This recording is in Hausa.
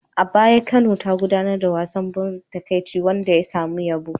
A baya Kano ta gudanar da wasan ban takaici wanda ya samu yabo.